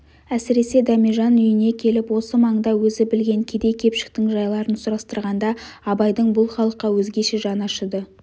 әсіресе дәмежан үйіне келіп осы маңда өзі білген кедей-кепшіктің жайларын сұрастырғанда абайдың бұл халыққа өзгеше жаны ашыды